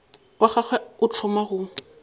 wa gagwe o thoma go